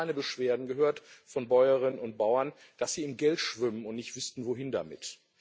Ich habe noch keine Beschwerden von Bäuerinnen und Bauern darüber gehört, dass sie im Geld schwimmen und nicht wüssten, wohin damit.